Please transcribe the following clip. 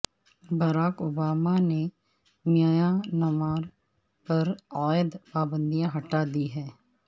Barack Obama نے Myanmar پر عائد پابندیاں ہٹا دی ہیں